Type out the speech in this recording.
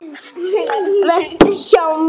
Vertu hjá mér.